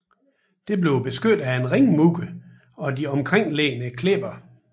Det bliver beskyttet af en ringmur og de omkringliggende klipper